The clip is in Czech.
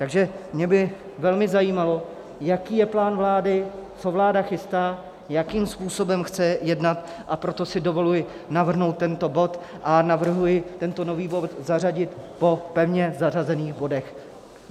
Takže mě by velmi zajímalo, jaký je plán vlády, co vláda chystá, jakým způsobem chce jednat, a proto si dovoluji navrhnout tento bod a navrhuji tento nový bod zařadit po pevně zařazených bodech.